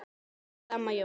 Elsku amma Jóna.